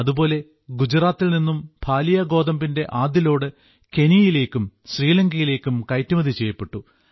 അതുപോലെ ഗുജറാത്തിൽ നിന്നും ഭാലിയ ഗോതമ്പിന്റെ ആദ്യലോഡ് കെനിയയിലേക്കും ശ്രീലങ്കയിലേക്കും കയറ്റുമതി ചെയ്യപ്പെട്ടു